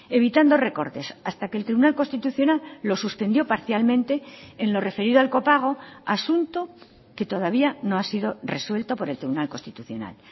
evitando recortes hasta que el tribunal constitucional lo suspendió parcialmente en lo referido al copago asunto que todavía no ha sido resuelto por el tribunal constitucional